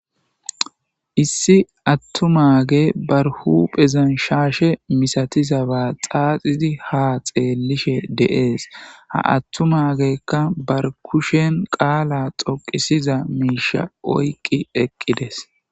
Issi atuma gey huphezan shashe misatizab xaxidi ha xelishe de'es ha atuma gdykka ba kushen qala dhqisay ga oqides